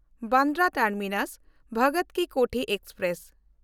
ᱵᱟᱱᱫᱨᱟ ᱴᱟᱨᱢᱤᱱᱟᱥ–ᱵᱷᱚᱜᱚᱛ ᱠᱤ ᱠᱳᱴᱷᱤ ᱮᱠᱥᱯᱨᱮᱥ